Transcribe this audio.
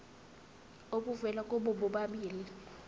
obuvela kubo bobabili